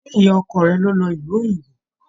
Ṣe ìyá ọkọ rẹ ló lọ ìlú òyìnbó?